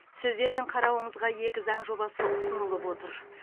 сіздердің қарауыңызға екі заң жобасы ұсынылып отыр